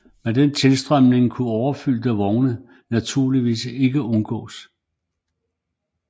Med den tilstrømning kunne overfyldte vogne naturligvis ikke undgås